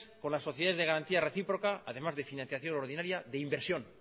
con las sociedades de garantía recíproca además de financiación ordinaria de inversión